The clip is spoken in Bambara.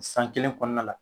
San kelen kɔɔna la